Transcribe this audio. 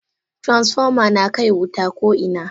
Transfoma nakai wuta ko ina.